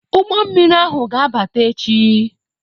Ụgbọ mmiri ahụ ga-abata echi